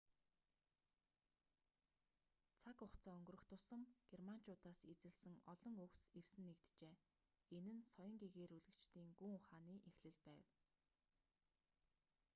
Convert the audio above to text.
цаг хугацаа өнгөрөх тусам германчуудаас зээлсэн олон үгс эвсэн нэгджээ энэ нь соён гэгээрүүлэгчдийн гүн ухааны эхлэл байв